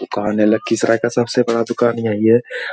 दुकान है लखीसराय का सबसे बड़ा दुकान यही है।